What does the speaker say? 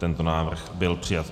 Tento návrh byl přijat.